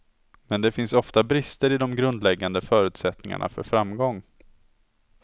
Men det finns ofta brister i de grundläggande förutsättningarna för framgång.